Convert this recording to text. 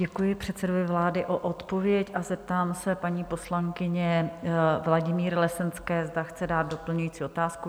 Děkuji předsedovi vlády za odpověď a zeptám se paní poslankyně Vladimíry Lesenské, zda chce dát doplňující otázku.